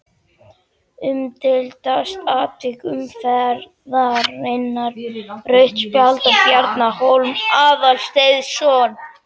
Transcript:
Umdeildasta atvik umferðarinnar: Rautt spjald á Bjarna Hólm Aðalsteinsson?